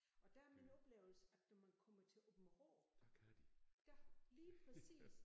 Og der er min oplevelse at når man kommer til Aabenraa der lige præcis